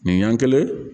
Min yɛn kelen